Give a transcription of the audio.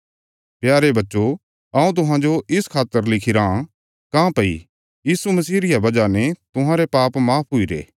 प्यारे बच्चो हऊँ तुहांजो इस खातर लिखिराँ काँह्भई यीशु मसीह रिया बजह ने तुहांरे पाप माफ हुईरे